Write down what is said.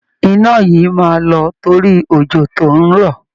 Iná yìí máa lọ torí òjò tó ń rọ̀